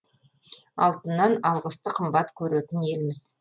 алтыннан алғысты қымбат көретін елміз